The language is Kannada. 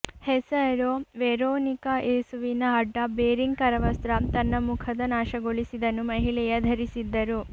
ಹೆಸರು ವೆರೋನಿಕಾ ಯೇಸುವಿನ ಅಡ್ಡ ಬೇರಿಂಗ್ ಕರವಸ್ತ್ರ ತನ್ನ ಮುಖದ ನಾಶಗೊಳಿಸಿದನು ಮಹಿಳೆಯ ಧರಿಸಿದ್ದರು